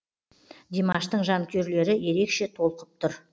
димаштың жанкүйерлері ерекше толқып тұр